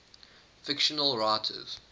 fictional writers